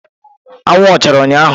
Anwụ ọ chara ụnyahụ?